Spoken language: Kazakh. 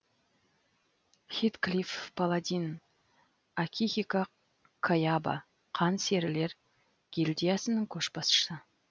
хитклиф паладин акихико каяба қан серілер гильдиясының көшбасшысы